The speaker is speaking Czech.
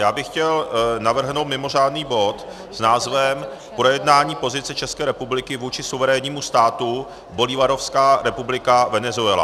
Já bych chtěl navrhnout mimořádný bod s názvem Projednání pozice České republiky vůči suverénnímu státu Bolívarovská republika Venezuela.